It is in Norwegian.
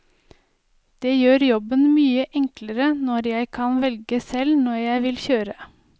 Det gjør jobben mye enklere når jeg kan velge selv når jeg vil kjøre.